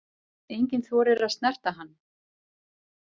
Enginn þorir að snerta hann.